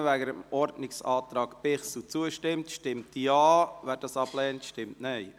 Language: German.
Wer dem Ordnungsantrag Bichsel zustimmt, stimmt Ja, wer dies ablehnt, stimmt Nein.